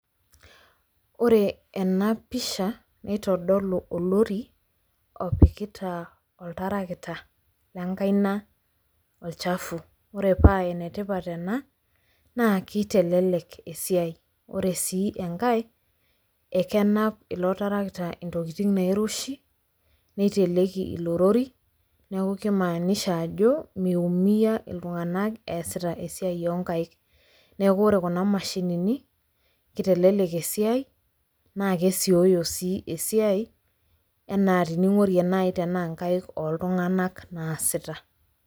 Ore ena pisha nitodolu olori opikita oltarakita lenkaina olchafu. Ore paa enetipat ena naa kitelelek esiai. Ore sii enkae ekenap ilo tarakita intokitin nairoshi, niteleki ilorori neeku kimaanisha ajo miumia iltunganak eesita esia oonkaik. Neeku ore kuna mashinini, kitelelek esiai naa kesioyo sii esiai enaa teninkorie naai tenaa inkaik naasita.